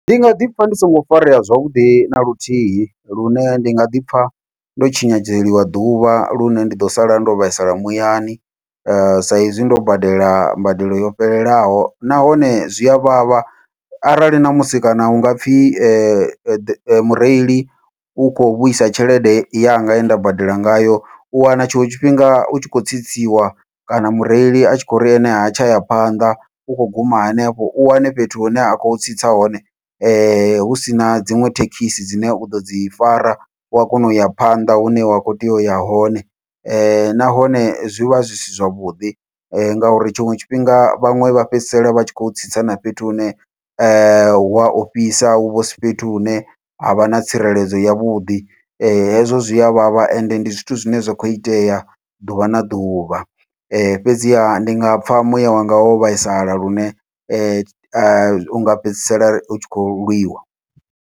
Ndi nga ḓipfha ndi songo farea zwavhuḓi na luthihi, lune ndi nga ḓipfha ndo tshinyadzeliwa ḓuvha lune ndi ḓo sala ndo vhaisala muyani, saizwi ndo badela mbadelo yo fhelelaho nahone zwia vhavha arali ṋamusi kana hunga pfhi mureili u kho vhuisa tshelede yanga ye nda badela ngayo u wana tshiṅwe tshifhinga u tshi khou tsitsiwa kana mureili a tshi khou ri ene ha tsha ya phanḓa u kho guma henefho, u wane fhethu hune ha khou tsitsa hone husina dziṅwe thekhisi dzine uḓo dzi fara wa kona uya phanḓa hune wa kho tea uya hone. Nahone zwi vha zwi si zwavhuḓi ngauri tshiṅwe tshifhinga vhaṅwe vha fhedzisela vha tshi khou tsitsa na fhethu hune, hua ofhisa huvha husi fhethu hune havha na tsireledzo yavhuḓi hezwo zwia vhavha ende ndi zwithu zwine zwa kho itea ḓuvha na ḓuvha, fhedziha ndi nga pfha muya wanga wo vhaisala lune unga fhedzisela utshi khou lwiwa.